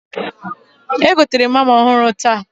Egoterem hama ọhụrụ taata